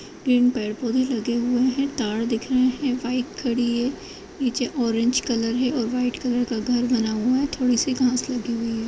पेड़-पौधे लगे हुए हैं। ताड दिख रहे हैं। बाइक खड़ी है। नीचे ओरेंज कलर है और वाइट कलर का घर बना हुआ है। थोड़ी सी घांस लगी हुई है।